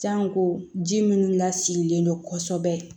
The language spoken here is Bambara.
Sanko ji minnu la sigilen don kosɛbɛ